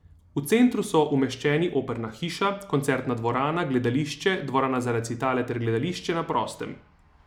V centru so umeščeni operna hiša, koncertna dvorana, gledališče, dvorana za recitale ter gledališče na prostem.